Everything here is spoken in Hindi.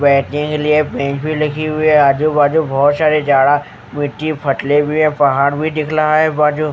बैठने के लिए बेंच भी लगी हुई है आजू बाजू बहोत सारे जाड़ा मिट्टी फटले भी है पहाड़ भी दिख लाहा है बाजू --